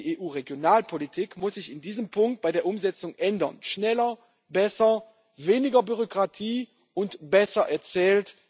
Die EU Regionalpolitik muss sich in diesem Punkt bei der Umsetzung ändern schneller, besser, weniger Bürokratie und besser erzählt.